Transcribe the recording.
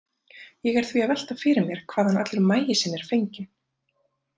Ég er því að velta fyrir mér hvaðan allur maísinn er fenginn.